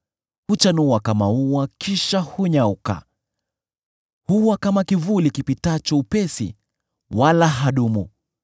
Huchanua kama ua kisha hunyauka; huwa kama kivuli kipitacho upesi, wala hadumu.